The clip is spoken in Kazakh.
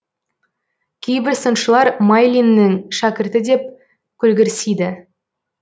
кейбір сыншылар майлиннің шәкірті деп көлгірсиді